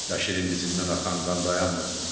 Bəşirin dizindən axan qan dayanmırdı.